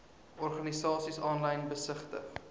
organisasies aanlyn besigtig